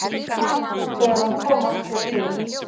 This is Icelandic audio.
Þegar hann kom aftur til